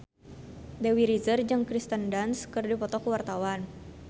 Dewi Rezer jeung Kirsten Dunst keur dipoto ku wartawan